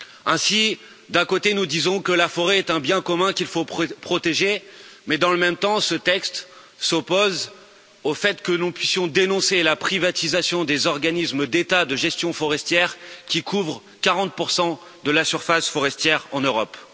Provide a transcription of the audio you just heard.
Ainsi, d'un côté, nous disons que la forêt est un bien commun qu'il faut protéger, mais dans le même temps, ce texte s'oppose au fait que nous puissions dénoncer la privatisation des organismes d'État de gestion forestière, qui administrent 40 de la surface forestière en Europe.